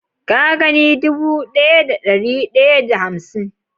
Ka gani dubu daya da dari daya da hamsin?